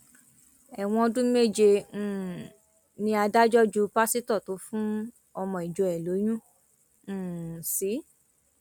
ẹwọn ọdún méje um ni adájọ ju pásítọ tó fún ọmọ ìjọ ẹ lóyún um sí